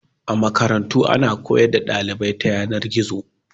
A Makarantu ana koyar da dalibai ta Yanar-gizo